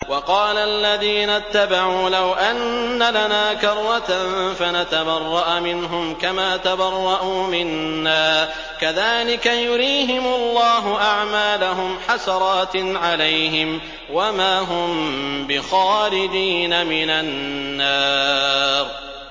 وَقَالَ الَّذِينَ اتَّبَعُوا لَوْ أَنَّ لَنَا كَرَّةً فَنَتَبَرَّأَ مِنْهُمْ كَمَا تَبَرَّءُوا مِنَّا ۗ كَذَٰلِكَ يُرِيهِمُ اللَّهُ أَعْمَالَهُمْ حَسَرَاتٍ عَلَيْهِمْ ۖ وَمَا هُم بِخَارِجِينَ مِنَ النَّارِ